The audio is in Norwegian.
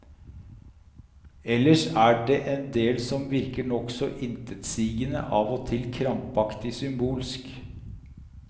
Ellers er det en del som virker nokså intetsigende, av og til krampaktig symbolsk.